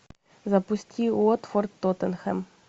запусти уотфорд тоттенхэм